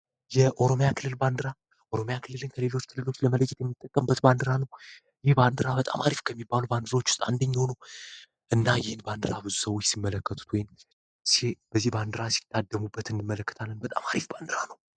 የኦሮሚያ ክልል ባንድራ ኦሮማያ ክልልን ከሌሎች ትልሎች ለመለክት የሚጠቀም በትባንድራ ነው ይህ በንድራ በጣም አሪፍ ከሚባሉ ባንድሮች ውስጥ አንደኛሆኑ እና ይህን ባንድራ ብዙ ሰዎች ሲመለከቱት ወን በዚህ ባንድራ ሲታደሙበት እንመለከት ለን በጣም አሪፍ ባንድራ ነው።